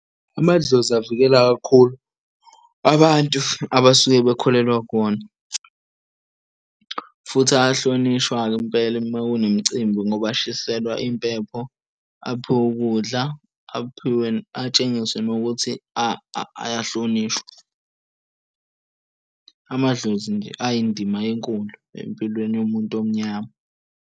Amadlozi avikela kakhulu abantu abasuke bekholelwa kuwona futhi ayahlonishwa-ke impela uma kunemicimbi ngoba ashiselwa impepho aphiwe ukudla. Atshengiswe nokuthi ayahlonishwa, amadlozi nje ayindima enkulu empilweni yomuntu omnyama.